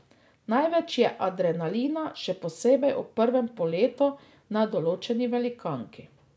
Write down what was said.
Največ je adrenalina, še posebej ob prvem poletu na določeni velikanki.